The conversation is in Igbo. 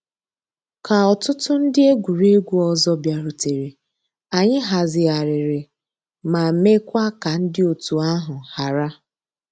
Kà òtùtù ńdí egwuregwu ọzọ bịàrùtèrè, ànyị̀ hazighàrìrì ma mekwaa ka ńdí ọ̀tù àhụ̀ hárà.